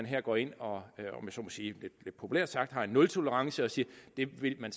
her går ind og lidt populært sagt har en nultolerance og siger at det vil man